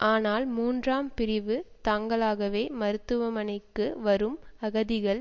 ஆனால் மூன்றாம் பிரிவு தாங்களாகவே மருத்துவமனைக்கு வரும் அகதிகள்